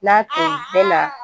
N'a to bɛɛ la